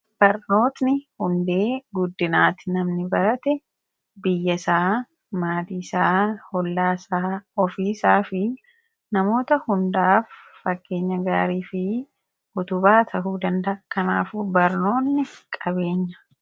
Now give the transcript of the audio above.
Barnoonni hundee guddinaati . Namni barate biyyasaa, maatiisaa, ollaasaa, ofiisaafi namoota hundaaf fakkeenya gaarii fi utubaa ta'uu danda'a. Kanaafuu barnoonni qabeenya.